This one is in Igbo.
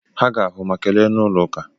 Ha ga-ahụ ma kelee n'ụlọ ụka.